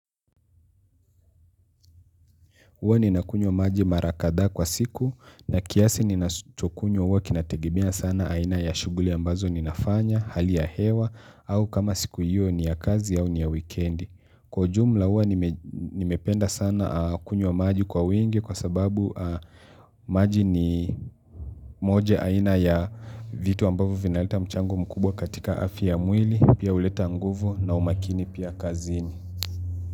Uwa nina kunywa maji mara kadha kwa siku na kiasi ninachokunywa huwa kinategemea sana aina ya shuguli ambazo ninafanya, hali ya hewa au kama siku hiyo ni ya kazi au ni ya weekend. Kwa jumla uwa nimependa sana kunywa maji kwa wingi kwa sababu maji ni moja aina ya vitu ambavyo vinaleta mchango mkubwa katika afya ya mwili, pia uleta nguvu na umakini pia kazini.